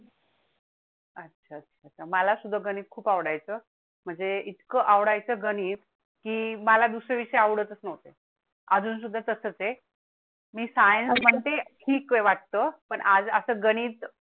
अच्छा अच्छा मला सुद्धा गणित खूप आवडायचं म्हणजे इतकं आवडायचं गणित की मला दुसर् विषयी आवडतच नव्हते. अजून सुद्धा तसंच आहे. मी science म्हणते ठीक वाटतं पण गणित